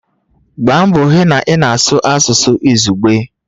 Gbaa mbọ hụ na ị na-asụ asụsụ izugbe!